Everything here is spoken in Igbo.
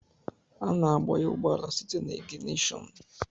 Ana agbanye ụgbọala site n'iginishon.